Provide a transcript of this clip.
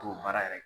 K'o baara yɛrɛ kɛ